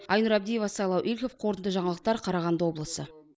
айнұр абдиева сайлау игликов қорытынды жаңалықтар қарағанды облысы